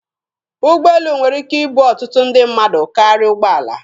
Ụgbọelu nwere ike ibu ọtụtụ ndị mmadụ karịa ụgbọala.